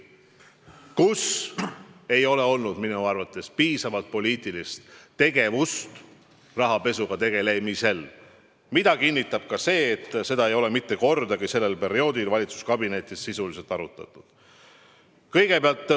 Minu arvates ei olnud siis piisavalt poliitilist tegevust rahapesuga tegelemisel, mida kinnitab ka see, et seda ei ole mitte kordagi sellel perioodil valitsuskabinetis sisuliselt arutatud.